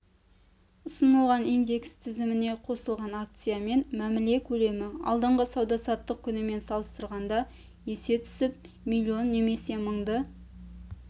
ұсынылған индекс тізіміне қосылған акциямен мәміле көлемі алдыңғы сауда-саттық күнімен салыстырғанда есе түсіп миллион немесе мыңды